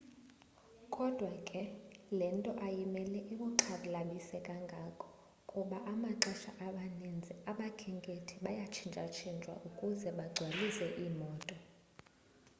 kodwa ke le nto ayimele ikuxhalabise kangako kuba amaxesha amaninzi abakhenkethi bayatshintshatshintshwa ukuze bagcwalise iimoto